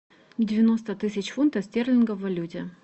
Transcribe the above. девяносто тысяч фунтов стерлингов в валюте